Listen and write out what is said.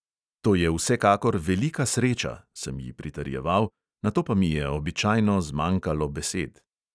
"To je vsekakor velika sreča," sem ji pritrjeval, nato pa mi je običajno zmanjkalo besed.